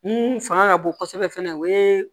Mun fanga ka bon kosɛbɛ fana o ye